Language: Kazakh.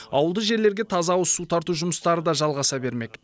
ауылды жерлерге таза ауызсу тарту жұмыстары да жалғаса бермек